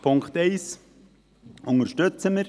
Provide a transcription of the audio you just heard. – Punkt 1 unterstützen wir.